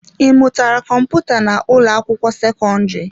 Ị mụtara kọmputa na ụlọ akwụkwọ sekọndrị?